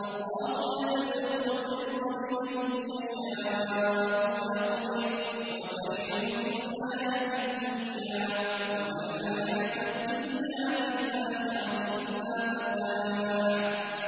اللَّهُ يَبْسُطُ الرِّزْقَ لِمَن يَشَاءُ وَيَقْدِرُ ۚ وَفَرِحُوا بِالْحَيَاةِ الدُّنْيَا وَمَا الْحَيَاةُ الدُّنْيَا فِي الْآخِرَةِ إِلَّا مَتَاعٌ